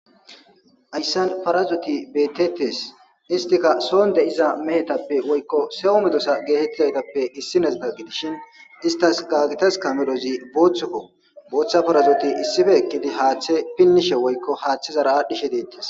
Haysan parazozi bettetes. Istika soon de'iza woyko so medosatappe issinoza gidishin istas gagetaska medhozi bothukko. Bootha parazoti issippe eqidi hathe pinishe woykon hathezara adhishe detes